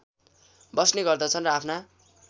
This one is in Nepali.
बस्ने गर्दछन् र आफ्ना